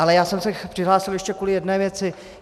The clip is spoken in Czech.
Ale já jsem se přihlásil ještě kvůli jedné věci.